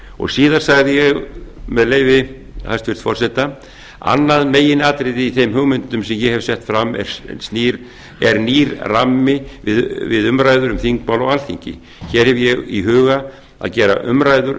og síðar sagði ég með leyfi forseta annað meginatriði í þeim hugmyndum sem ég hef sett fram er nýr rammi við umræður um þingmál á alþingi hér hef ég í huga að gera umræður